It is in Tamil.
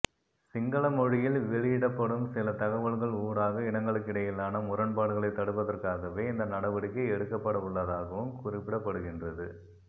சிங்கள மொழியில் வெளியிடப்படும் சில தகவல்கள் ஊடாக இனங்களுக்கிடையிலான முரண்பாடுகளை தடுப்பதற்காகவே இந்த நடவடிக்கை எடுக்கப்படவுள்ளதாகவும் குறிப்பிடப்படுகின்றது